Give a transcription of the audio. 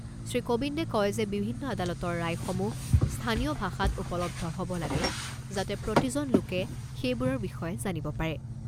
শ্ৰীকোবিন্দে কয় যে বিভিন্ন আদালতৰ ৰায়সমূহ স্থানীয় ভাষাত উপলব্ধ হ'ব লাগে যাতে প্ৰতিজন লোকে সেইবোৰৰ বিষয়ে জানিব পাৰে।